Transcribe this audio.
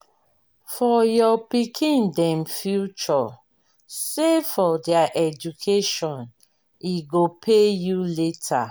for your pikin dem future save for their education e go pay you later.